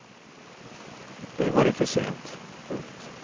Och nu var det för sent. punkt